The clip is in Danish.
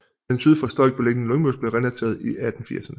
Den syd for Stolk beliggende Lyngmose blev renateret i 1980erne